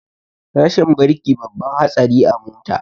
Rashin birki babban hatsari a mota